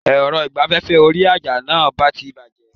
Èrọ ìgbaféfé orí àjà náà ti bàjé